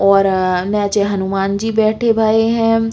और अ नेचे हनुमान जी बैठे भये हैं।